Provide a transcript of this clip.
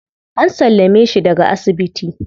An sallame shi daga asibiti.